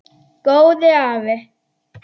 Góði afi.